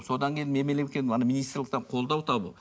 содан кейін ана министрліктен қолдау табу